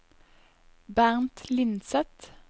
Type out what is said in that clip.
Bernt Lindseth